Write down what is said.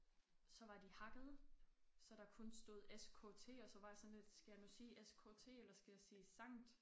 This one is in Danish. Så var de hakkede så der kun stod s k t og så var jeg sådan lidt skal jeg nu sige s k t eller skal jeg sige sankt